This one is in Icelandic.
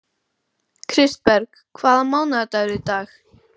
Kristberg, hvaða mánaðardagur er í dag?